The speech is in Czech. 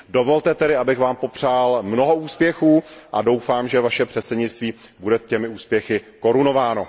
Dovolte tedy, abych vám popřál mnoho úspěchů, a doufám, že vaše předsednictví bude těmi úspěchy korunováno.